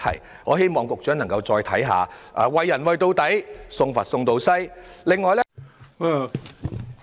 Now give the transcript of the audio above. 因此，我希望局長可以再三考慮，"為人為到底，送佛送到西"。